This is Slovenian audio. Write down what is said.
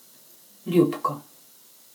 Ljubko!